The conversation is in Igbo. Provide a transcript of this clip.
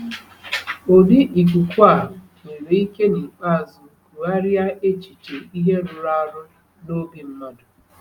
Ụdị ikuku a nwere ike n’ikpeazụ kụgharịa echiche ihe rụrụ arụ n’obi mmadụ.